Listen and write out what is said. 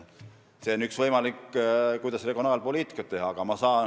See oleks üks võimalusi, kuidas regionaalpoliitikat teha.